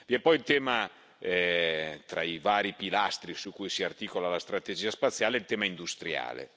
Vi è poi, tra i vari pilastri su cui si articola la strategia spaziale, il tema industriale.